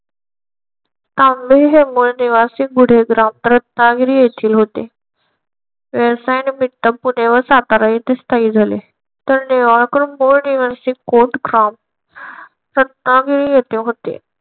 तांबे हे मूळ निवासी गुढे ग्राम रत्नागिरी येथील होते. व्यवसाया निमित्त पुणे व सातारा येथे स्थायिक झाले. तर निंबाळकर मूळ निवासी कोटग्राम रत्नागिरी येथील होते.